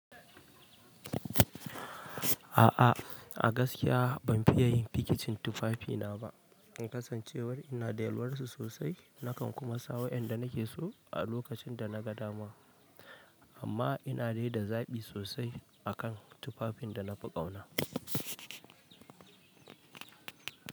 A'a a gaskiya ban fiye yin fikecin tufafina ba in kasancewar ina da yalwar su sosai nakan kuma sa waƴanda nake so a lokacin da na ga dama. Amma ina dai da zaɓi sosai a kan tufafin da na fi ƙauna.